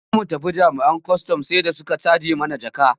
Da za mu tafi jami'an kwastam sai da suka caje mana jaka.